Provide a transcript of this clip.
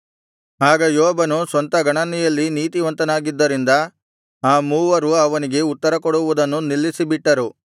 ಆಗ ಯೋಬನು ಸ್ವಂತ ಗಣನೆಯಲ್ಲಿ ನೀತಿವಂತನಾಗಿದ್ದರಿಂದ ಆ ಮೂವರು ಅವನಿಗೆ ಉತ್ತರಕೊಡುವುದನ್ನು ನಿಲ್ಲಿಸಿಬಿಟ್ಟರು